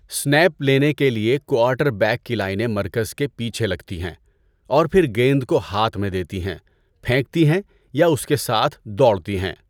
Snap لینے کے لیے کوارٹر بیک کی لائنیں مرکز کے پیچھے لگتی ہیں اور پھر گیند کو ہاتھ میں دیتی ہیں، پھینکتی ہیں یا اس کے ساتھ دوڑتی ہیں۔